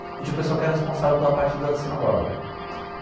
E tinha o pessoal que era responsável pela parte da sinagoga.